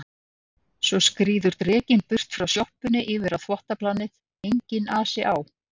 Svo skríður drekinn burt frá sjoppunni yfir á þvottaplanið, enginn asi á